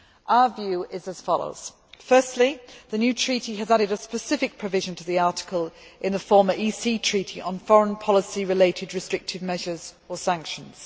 Our view is as follows Firstly, the new treaty has added a specific provision to the article in the former EC Treaty on foreign policy related restrictive measures or sanctions.